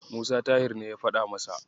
Musa Tahir ne ya faɗa.